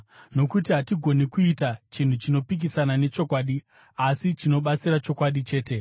Nokuti hatigoni kuita chinhu chinopikisana nechokwadi, asi chinobatsira chokwadi chete.